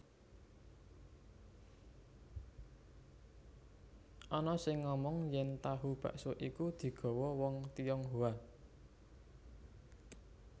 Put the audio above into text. Ana sing ngomong yèn tahu bakso iki digawa wong Tionghoa